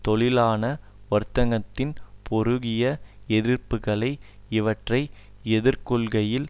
தொழிலாள வர்க்கத்தின் பெருகிய எதிர்ப்புக்கள் இவற்றை எதிர்கொள்கையில்